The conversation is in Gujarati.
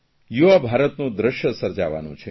યુવા ભારતનું દ્રશ્ય સર્જાવાનું છે